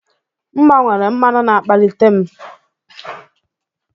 M gbanwere mmanụ na-akpalite m